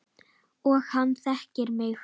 Og hann þekkir mig.